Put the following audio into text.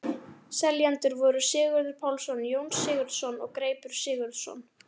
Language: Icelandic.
Seljendur voru Sigurður Pálsson, Jón Sigurðsson og Greipur Sigurðsson.